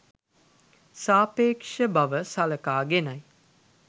සාපේක්ෂ බව සලකාගෙනයි.